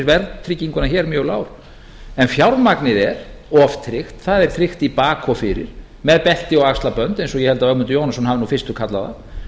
verðtrygginguna hér mjög lágur fjármagnið er oftryggt það er tryggt í bak og fyrir með belti og axlabönd eins og ég held að ögmundur jónasson hafi fyrstur kallað